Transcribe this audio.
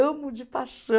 Amo de paixão.